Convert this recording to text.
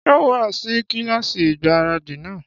Ṣé ó wá sí kílásì ìgbáradì náà?